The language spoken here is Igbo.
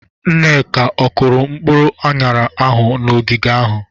Nneka, ọ kụrụ mkpụrụ aṅara ahụ n'ogige ahụ?